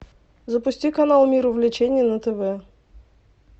запусти канал мир увлечений на тв